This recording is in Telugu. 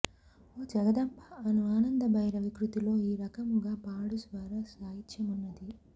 ఓ జగదంబ అను ఆనందభైరవి కృతిలో ఈ రకముగా పాడు స్వర సాహిత్యమున్నది